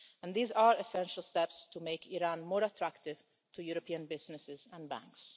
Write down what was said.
These are essential steps to make Iran more attractive to European businesses and banks.